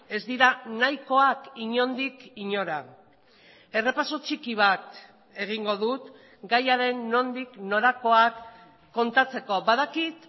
ez dira nahikoak inondik inora errepaso txiki bat egingo dut gaiaren nondik norakoak kontatzeko badakit